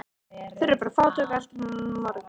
Þau eru bara fátæk og náttúrlega allt of mörg